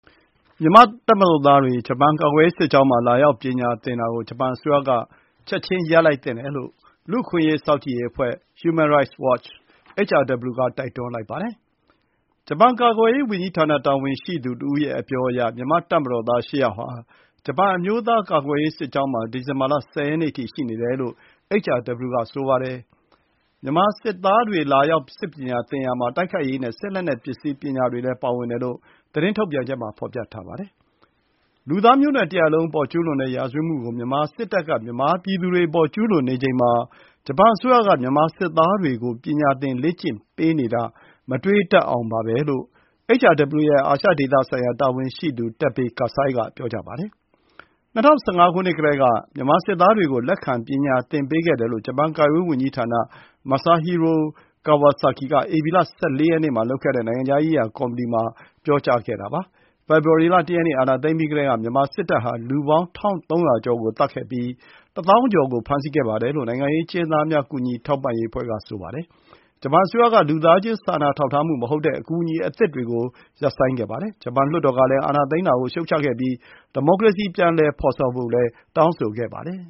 မြန်မာ့တပ်မတော်သားတွေ ဂျပန် ကာကွယ်ရေးစစ်ကျောင်းမှာ လာရောက် ပညာသင်တာကို ဂျပန်အစိုးရအနေနဲ့ ချက်ချင်း ရပ်လိုက်သင့်တယ်လို့ လူ့အခွင့်အရေး စောင့်ကြည့်ရေး အဖွဲ့ Human Rights Watch (HRW) က တိုက်တွန်းလိုက်ပါတယ်။ ကာကွယ်ရေးဝန်ကြီးဌာန တာဝန်ရှိသူတဦးရဲ့ အပြောအရ မြန်မာ့ တပ်မတော်သား ၈ ယောက်ဟာ ဂျပန် အမျိုးသားကာကွယ်ရေး စစ်ကျောင်းမှာ ဒီဇင်ဘာလ ၁၀ ရက်နေ့အထိ ရှိနေတယ်လို့ HRW က ဆိုပါတယ်။ မြန်မာစစ်သားတွေ လာရောက် စစ်ပညာသင်ရာမှာ တိုက်ခိုက်ရေးနဲ့ စစ်လက်နက်ပစ္စည်းပညာတွေလည်း ပါဝင်တယ်လို့ HRW သတင်းထုတ်ပြန်ချက်မှာ ဖော်ပြထားပါတယ်။ လူသားမျိုးနွယ်တရပ် လုံးအပေါ် ကျူးလွန်တဲ့ ရာဇဝတ်မှုတွေ မြန်မာစစ်တပ်က ကျူးလွန်နေချိန်မှာ ဂျပန်အစိုးရက မြန်မာစစ်သားတွေကို ပညာသင် လေ့ကျင့်ပေးနေတာ မတွေးတတ်အောင်ပါပဲလို့ HRW ရဲ့ အာရှဒေသဆိုင်ရာ တာဝန်ရှိသူ Teppei Kasai က ပြောပါတယ်။ ၂၀၁၅ ကတည်းက မြန်မာစစ်သားတွေကို လက်ခံ ပညာသင်ပေးခဲ့တယ်လို့ ဂျပန် ကာကွယ်ရေးဝန်ကြီးဌာန Masahiro Kawasaki က ဧပြီလ ၁၄ ရက်နေ့မှာ လုပ်ခဲ့တဲ့ နိုင်ငံခြားရေးရာ ကော်မီတီမှာ ပြောကြားခဲ့ပါတယ်။ဖေဖော်ဝါရီ လ ၁ ရက်နေ့ အာဏာသိမ်းပြီးကတည်းက မြန်မာစစ်တပ်ဟာ လူပေါင်း ၁,၃၀၀ ကျော်ကို သတ်ခဲ့ပြီး ၁၀,၀၀၀ ကျော် ကို ဖမ်းဆီးခဲ့တယ်လို့ လူ့အခွင့်အရေးအဖွဲ့တွေက ပြောဆိုနေတာပါ။ မြန်မာနိုင်ငံမှာ စစ်အာဏာသိမ်းပြီးတဲ့နောက် မြန်မာနိုင်ငံကိုပေးနေတဲ့ လူသားချင်းစာနာထောက်ထားမှု မဟုတ်တဲ့ အကူအညီအသစ်တွေကို ဂျပန်ကရပ်ဆိုင်းခဲ့ပြီး ဂျပန်လွှတ်တော်ကလည်း အာဏာသိမ်းတာကို ရှုတ်ချခဲ့ပါတယ်။မြန်မာနိုင်ငံမှာ ဒီမိုကရေစီ ပြန်လည်ဖော်ဆောင်ဖို့လည်း တောင်းဆိုခဲ့ပါတယ်